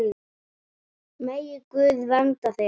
Megi Guð vernda þig.